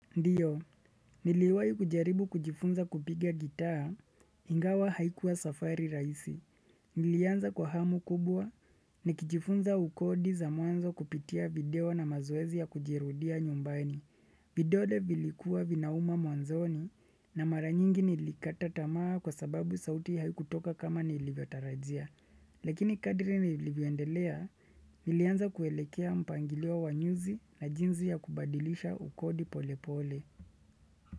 Ndiyo, niliwayi kujaribu kujifunza kupiga gitaa, ingawa haikuwa safari raisi. Nilianza kwa hamu kubwa, nikijifunza ukodi za mwanzo kupitia video na mazoezi ya kujirudia nyumbani. Vidole vilikuwa vinauma mwanzoni, na mara nyingi nilikata tamaa kwa sababu sauti haikutoka kama nilivyotarajia. Lakini kadri nilivyoendelea, nilianza kuelekea mpangilio wanyuzi na jinsi ya kubadilisha ukodi pole pole.